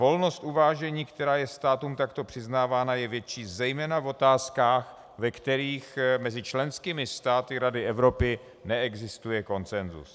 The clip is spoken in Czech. Volnost uvážení, která je státům takto přiznávána, je větší zejména v otázkách, ve kterých mezi členskými státy Rady Evropy neexistuje konsensus.